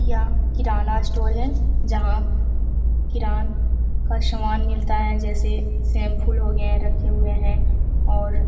यह किराना स्टोर है जहाँ किरान का समान मिलता है जैसे शैंपू हो गए रखे हुए हैं और --